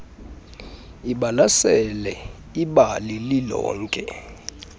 ibalasele ibali lilonke